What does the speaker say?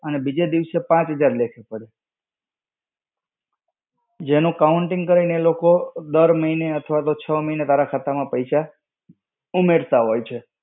અને બીજે દિવસે પાંચ હજાર લેખે પડે.